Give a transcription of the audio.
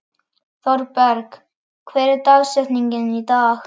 Thorberg, hver er dagsetningin í dag?